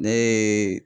Ne ye